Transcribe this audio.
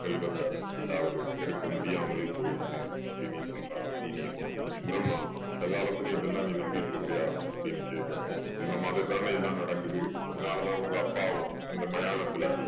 செல்வத்த ரெண்டாவது எடுக்க முடியாமலே போயிடுச்சு அப்படீன்னு சொல்றா சீனி அம்மா. என்னம்மா இந்த காலத்துலயும் இதெல்லாம் நீ நம்பிட்டிருக்கறியா அப்படீன்னு கேட்கவும். அந்த மாதிரி தானே எல்லாம் நடக்குது. அதுனால தான் உங்க அப்பாவும் அந்த மயானத்துல